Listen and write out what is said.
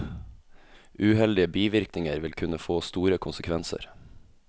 Uheldige bivirkninger vil kunne få store konsekvenser.